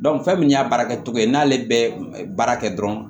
fɛn min y'a baarakɛcogo ye n'ale bɛ baara kɛ dɔrɔn